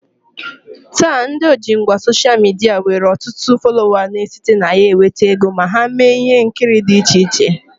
Taa, ndị ojingwa soshal midia nwere ọtụtụ folowa na-esite na ya nweta ego ma ha mee ihe nkiri dị iche iche